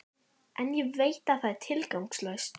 En veit að það er tilgangslaust.